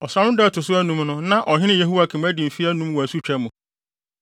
Ɔsram no da a ɛto so anum no na ɔhene Yehoiakin adi mfe anum wɔ asutwa mu.